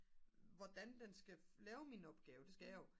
hvordan den skal lave min opgave det skal jeg jo